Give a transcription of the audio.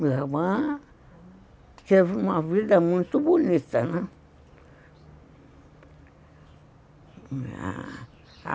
Minha irmã teve uma vida muito bonita, né?